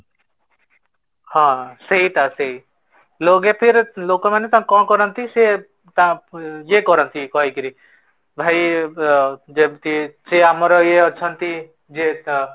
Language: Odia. ହଁ, ସେଇଟା ସେଇ, ଲୋକେ ଫିର ଲୋକ ମାନେ ତ କଣ କରନ୍ତି ସେ ତା ୟେ କରନ୍ତି କହିକିରି ଭାଇ ଅ ଯେମିତି ସେ ଆମର ୟେ ଅଛନ୍ତି ଯେତ